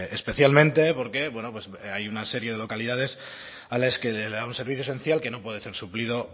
especialmente porque bueno pues hay una serie de localidades a las que le da un servicio esencial que no puede ser suplido